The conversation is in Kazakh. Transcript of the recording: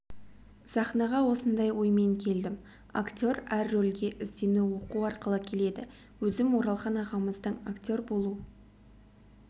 сахнаға осындай оймен келдім актер әр рөлге іздену оқу арқылы келеді өзім оралхан ағамыздың актер болу